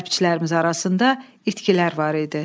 Hərbçilərimiz arasında itkilər var idi.